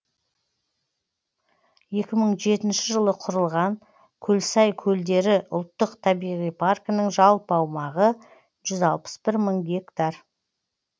екі мың жетінше жылы құрылған көлсай көлдері ұлттық табиғи паркінің жалпы аумағы жүз алпыс бір мың гектар